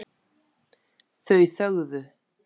Þau þögðu.